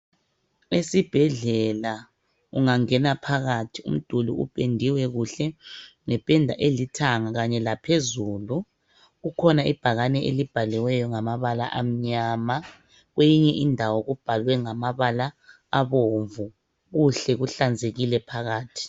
Esibhedlela. Ungangena phakathi, umduli ophendiwe kuhle ngephenda elithanga khanye la phezulu. Kukhona ibhakani elibhaliweyo ngamabala amnyama. Kweyinye indawo kubhalwe ngamabala abomvu, kuhle kuhlanzekile phakathi.